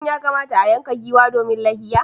Shin ya kamata a yanka giwa domin layya?